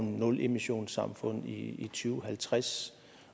nulemissionssamfund i to og halvtreds